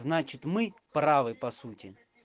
значит мы правы по сути